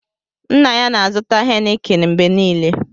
Nna ya na-azụta hénịkịn mgbe niile